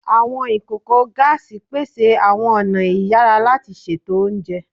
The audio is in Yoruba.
Awọn ikoko gaasi pese awọn ọna iyara lati ṣeto ounjẹ